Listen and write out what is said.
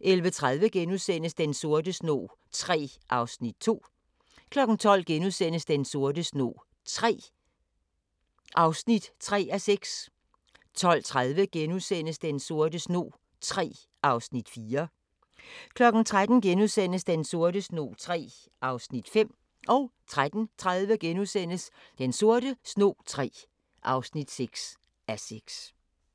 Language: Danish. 11:30: Den sorte snog III (2:6)* 12:00: Den sorte snog III (3:6)* 12:30: Den sorte snog III (4:6)* 13:00: Den sorte snog III (5:6)* 13:30: Den sorte snog III (6:6)*